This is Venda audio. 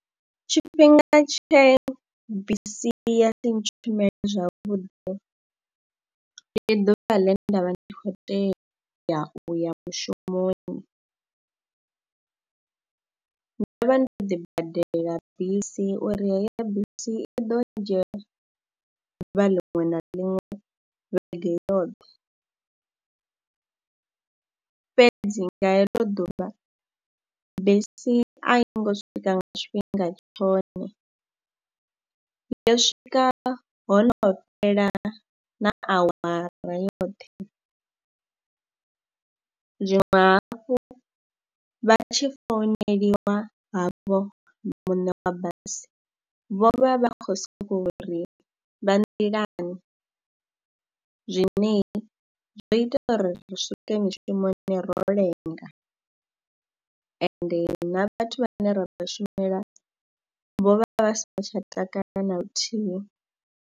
Tshifhinga tshe bisi ya si ntshumele zwavhuḓi, ndi ḓuvha ḽe nda vha ndi khou tea u ya mushumoni. Ndo vha ndo ḓibadela bisi uri heyo bisi i ḓo ndzhia ḓuvha liṅwe na liṅwe, vhege yoṱhe fhedzi nga heḽo ḓuvha bisi a i ngo swika nga tshifhinga tshone, yo swika ho no fhela na awara yoṱhe. Zwiṅwe hafhu, vha tshi founeliwa havho muṋe wa basi vho vha vha khou sokou ri vha nḓilani zwine zwo ita uri ri swike mishumo ro lenga ende na vhathu vhane ra vha shumela vho vha vha vha songo tsha takalela na luthihi.